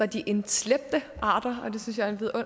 de invasive arter